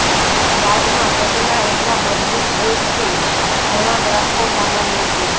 બાદમાં ઘટના એટલા મજબૂત હોય છે ઘણા ગ્રાહકો સામાન્ય છે